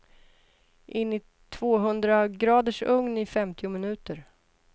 In i tvåhundragraders ugn i femtio minuter.